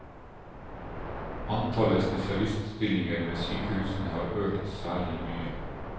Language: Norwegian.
Antallet spesialiststillinger ved sykehusene har økt særlig mye.